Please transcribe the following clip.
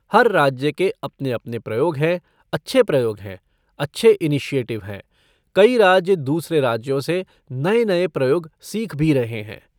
हर राज्य के अपने अपने प्रयोग हैं, अच्छे प्रयोग हैं, अच्छे इनिशिएटिव हैं, कई राज्य दूसरे राज्यों से नए नए प्रयोग सीख भी रहे हैं।